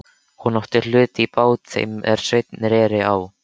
Hún átti hlut í bát þeim er Sveinn reri á.